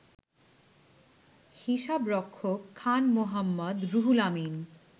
হিসাবরক্ষক Khan Mohammad Ruhul Amin